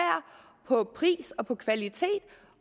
på pris og på kvalitet